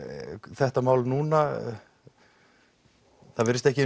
þetta mál núna það virðist ekki